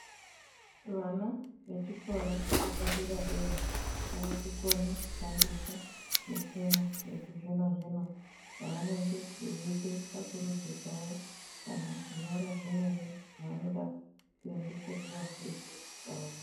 Vana vechikora chepadera-dera, vaakukone kushandisa michina yechizvino-zvino ,pavanenge veiite tsvakurudzo dzavo, kana kunyorwa zvimweni zvavanoda kuendesa kuvafundisi vavo.